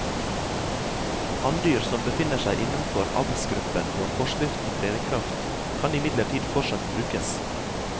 Hanndyr som befinner seg innenfor avlsgruppen når forskriften trer i kraft, kan imidlertid fortsatt brukes.